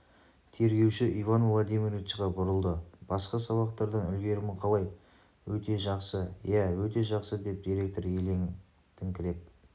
тергеуші иван владимировичқа бұрылды басқа сабақтардан үлгерімі қалай өте жақсы иә өте жақсы деп директор елеңдеңкіреп